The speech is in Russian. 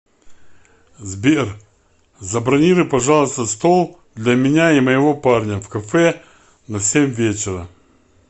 сбер забронируй пожалуйста стол для меня и моего парня в кафе на семь вечера